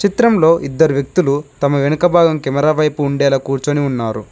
చిత్రంలో ఇద్దరు వ్యక్తులు తమ వెనుక భాగం కెమెరా వైపు ఉండేలా కూర్చొని ఉన్నారు.